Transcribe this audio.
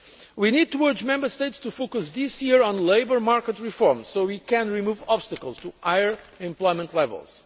do. We need to urge Member States to focus this year on labour market reform so that we can remove obstacles to higher employment levels.